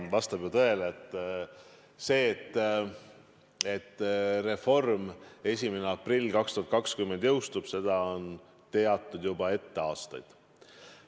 Vastab ju tõele: seda, et reform 1. aprillil 2020 jõustub, on teatud ette juba aastaid.